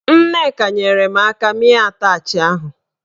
Nneka nyere m aka mịa atachị ahụ.